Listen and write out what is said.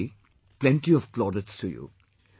Nitish ji, plenty of plaudits to you